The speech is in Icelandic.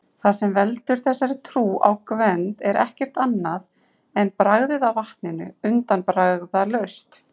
Það sem veldur þessari trú á Gvend er ekkert annað en bragðið af vatninu, undanbragðalaust!